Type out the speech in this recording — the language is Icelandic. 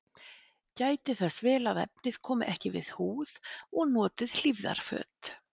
Gætið þess vel að efnið komi ekki við húð og notið hlífðarföt.